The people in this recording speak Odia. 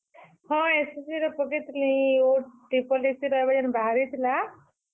ହଁ, SSC ରେ ପକେଇ ଥିଲିଁ। OSSC ର ଏଭେ ଯେନ୍ ବାହାରିଥିଲା